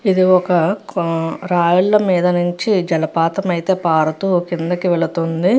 ఇది ఒక కొ రాళ్ళ మీద నించి జలపాతం అయితే పారుతూ కిందకి వెళ్తుంది.